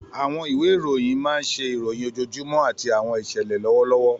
Àwọn ìwé ìròyìn máa ń ṣe ìròyìn ojoojúmọ́ àti àwọn ìṣẹ̀lẹ̀ lọ́wọ́lọ́wọ́.